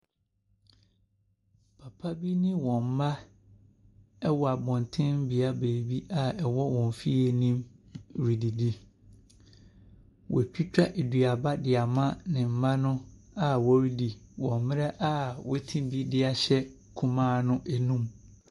Nnipa bi ne wɔn mma wɔ abɔten bea baabi a ɛwɔ wɔn fie no mu redidi. Wɔatwitwa duaba de ama ne mma no a wɔredi wɔ mmerɛ wɔate bi de ahyɛ kumaa no anum.